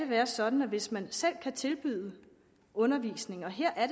være sådan at hvis man selv kan tilbyde undervisning og her er